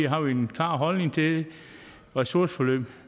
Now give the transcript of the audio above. har vi en klar holdning til ressourceforløb